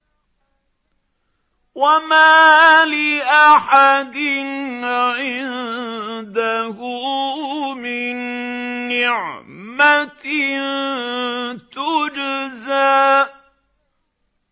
وَمَا لِأَحَدٍ عِندَهُ مِن نِّعْمَةٍ تُجْزَىٰ